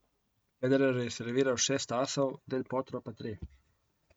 Federer je serviral šest asov, del Potro pa tri.